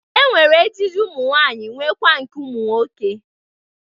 E nwere ejiji ụmụnwaanyị nwekwa nke ụmụ nwoke.